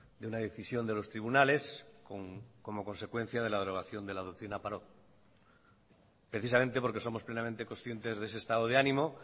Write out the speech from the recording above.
de una decisión de los tribunales como consecuencia de la derogación de la doctrina parot precisamente porque somos plenamente conscientes de ese estado de ánimo